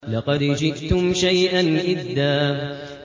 لَّقَدْ جِئْتُمْ شَيْئًا إِدًّا